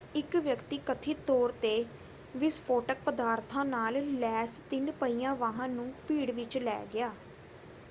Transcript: ਇੱਕ ਵਿਅਕਤੀ ਕਥਿਤ ਤੌਰ 'ਤੇ ਵਿਸਫੋਟਕ ਪਦਾਰਥਾਂ ਨਾਲ ਲੈਸ ਤਿੰਨ-ਪਹੀਆ ਵਾਹਨ ਨੂੰ ਭੀੜ ਵਿੱਚ ਲੈ ਗਿਆ।